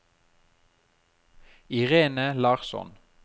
Irene Larsson